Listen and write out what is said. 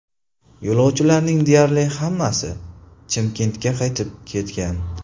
Yo‘lovchilarning deyarli hammasi Chimkentga qaytib ketgan.